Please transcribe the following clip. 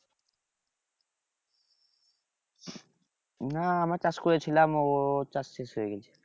না আমরা চাষ করেছিলাম ও চাষ শেষ হয়ে গেছে